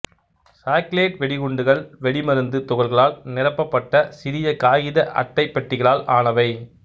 chocolate வெடிகுண்டுகள் வெடிமருந்து துகள்களால் நிரப்பப்பட்ட சிறிய காகித அட்டைப் பெட்டிகளால் ஆனவை